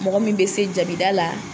Mɔgɔ min bE se jabida la.